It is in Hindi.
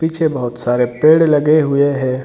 पीछे बोहोत सारे पेड़ लगे हुए है।